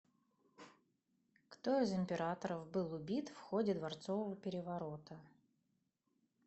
кто из императоров был убит в ходе дворцового переворота